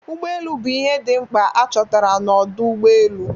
Ụgbọ elu bụ ihe dị mkpa a chọtara n'ọdo ụgbọ elu.